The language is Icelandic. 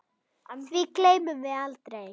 Því gleymum við aldrei.